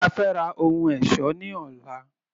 Afẹ́ ra ohun ẹ̀ṣọ́ ní ọlá.